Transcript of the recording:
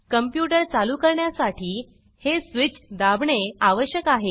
computer चालू करण्यासाठी हे स्वीच् दाबणे आवश्यक आहे